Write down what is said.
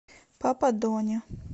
папа дони